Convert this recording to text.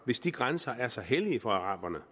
hvis de grænser er så hellige for araberne